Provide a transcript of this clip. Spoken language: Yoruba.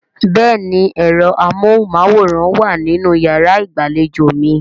Bẹ́ẹ̀ni ẹ̀rọ amóhùnmáwòrán wà nínú yàrá ìgbàlejò mi